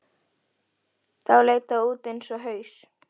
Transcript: Þá leit það út eins og haus.